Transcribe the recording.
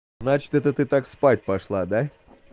значит это ты так спать пошла да